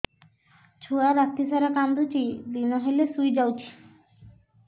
ଛୁଆ ରାତି ସାରା କାନ୍ଦୁଚି ଦିନ ହେଲେ ଶୁଇଯାଉଛି